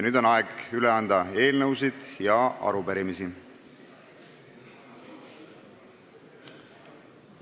Nüüd on aeg anda üle eelnõusid ja arupärimisi.